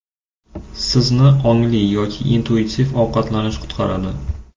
Sizni ongli yoki intuitiv ovqatlanish qutqaradi.